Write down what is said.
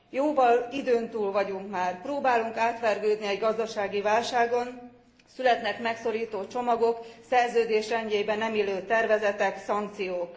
Jóval időn túl vagyunk már. Próbálunk átvergődni egy gazdasági válságon, születnek megszorító csomagok, a Szerződés rendjébe nem illő tervezetek, szankciók.